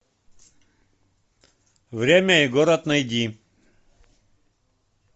время и город найди